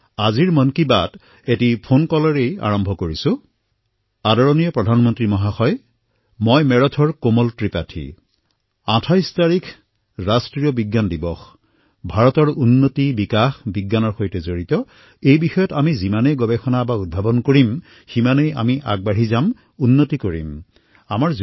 আজি আৰম্ভণিতে মন কী বাত এটা ফোন কলৰ পৰাই আৰম্ভ কৰোঁ